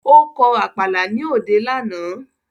Ó kọ Àpàlà ní òde lánàá